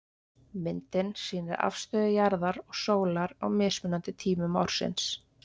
Myndin sýnir afstöðu jarðar og sólar á mismunandi tímum ársins.